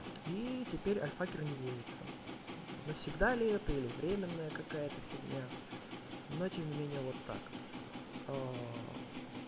и теперь альфакер не вводится навсегда ли это или временная какая-то фигня но тем не менее вот так